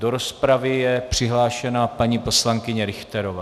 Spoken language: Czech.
Do rozpravy je přihlášena paní poslankyně Richterová.